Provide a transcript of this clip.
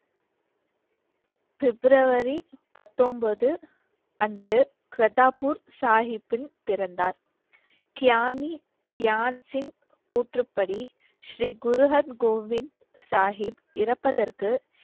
Febrauary பத்தொன்பது அன்று கிரித்தாபூர் சாகிப்பில் பிறந்தார். கியானி கியான்சிங் கூற்றுப்படி ஸ்ரீ குரு அர் கோபிந்த் சாகிப் இறப்பதற்கு